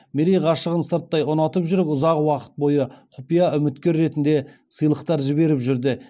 мерей ғашығын сырттай ұнатып жүріп ұзақ уақыт бойы құпия үміткер ретінде сыйлықтар жіберіп жүрді